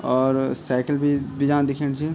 और साइकिल बि बीजाम दिखेंणी च।